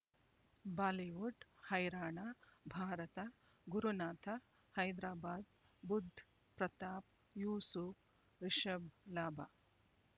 Bollywood ಹೈರಾಣ ಭಾರತ ಗುರುನಾಥ ಹೈದರಾಬಾದ್ ಬುಧ್ ಪ್ರತಾಪ್ ಯೂಸುಫ್ ರಿಷಬ್ ಲಾಭ